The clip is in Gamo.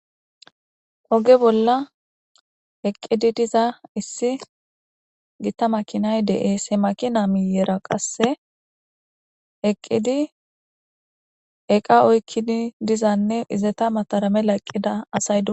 Oge bolla eqqidi diza issi gita makinay de7ese makina miyera qasse eqqidi eqa oykkini dizanne izeta matara mela eqqida asay dosona.